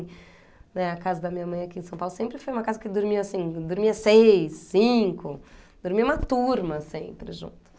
Eh, a casa da minha mãe aqui em São Paulo sempre foi uma casa que dormia assim, dormia seis, cinco, dormia uma turma sempre junto.